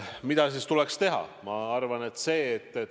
Mida tuleks teha?